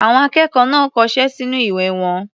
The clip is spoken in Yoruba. Àwọn akẹ́kọ̀ọ́ kọṣẹ́ sínú ìwé wọn.